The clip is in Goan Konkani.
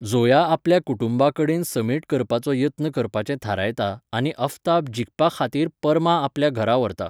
ज़ोया आपल्या कुटुंबा कडेन समेट करपाचो यत्न करपाचें थारायता आनी आफताब जिखपा खातीर पर्मा आपल्या घरा व्हरता.